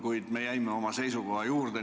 Kuid me jäime oma seisukoha juurde.